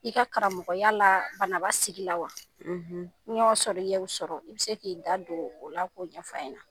I ka karamɔgɔya la, Banaba sigi la wa, n'i y' o sɔrɔ, bana i bɛ se k'i da don o la k'o ɲɛfɔ an ɲɛna.